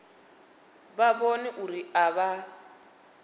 vha vhone uri a vha